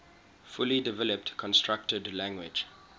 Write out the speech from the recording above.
fully developed constructed language